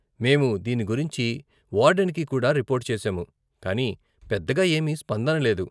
మేము దీని గురించి వార్డెన్కి కూడా రిపోర్టు చేసాము, కానీ పెద్దగా ఏమీ స్పందన లేదు.